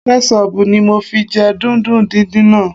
Kẹ́ṣọbù ni mo fi jẹ dùndún díndín náà